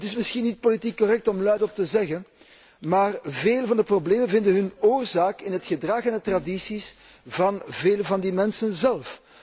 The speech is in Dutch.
Het is misschien niet politiek correct om het hardop te zeggen, maar veel van de problemen vinden hun oorzaak in het gedrag en de tradities van vele van die mensen zelf.